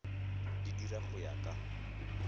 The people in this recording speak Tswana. di dira go ya ka